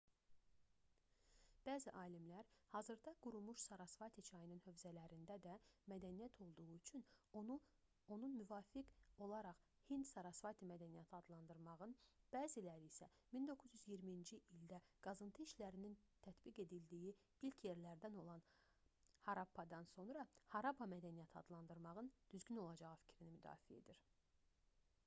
bəzi alimlər hazırda qurumuş sarasvati çayının hövzələrində də mədəniyyət olduğu üçün onun müvafiq olaraq hind-sarasvati mədəniyyəti adlandırmağın bəziləri isə 1920-ci ildə qazıntı işlərinin tətbiq edildiyi ilk yerlərindən olan harappadan sonra harappa mədəniyyəti adlandırmağın daha düzgün olacağı fikrini müdafiə edir